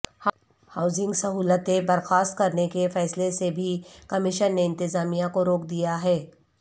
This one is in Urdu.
ہاوز نگ سہولتیں برخواست کرنے کے فیصلے سے بھی کمیشن نے انتظامیہ کو روک دیاہے